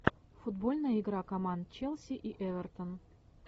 футбольная игра команд челси и эвертон